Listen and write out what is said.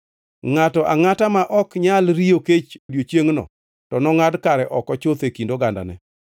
Ngʼato angʼata ma ok nyal riyo kech odiechiengʼno to nongʼad kare oko chuth e kind ogandane.